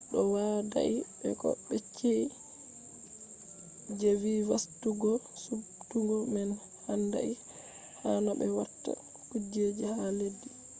ɗo yadai be ko be yecci je vi fasutuggo suɓtugo man handai ha no be watta kujeji ha leddi